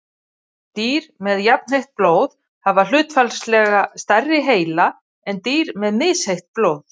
dýr með jafnheitt blóð hafa hlutfallslega stærri heila en dýr með misheitt blóð